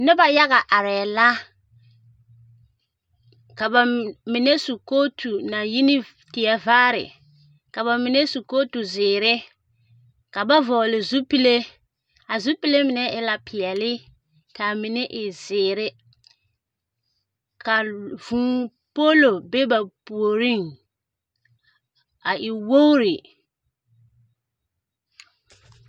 Noba yaga arԑԑ la, ka ba mine su kootu naŋ yi teԑvaare, ka ba mine su kootu zeere, ka ba vͻgele zupile. A zupile mine e la peԑle ka a mine e zeere, ka vũũ poolo be ba puoriŋ. A e wogiri.